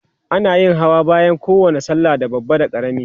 ana yin Hawa bayan kowani sallah da babba da karami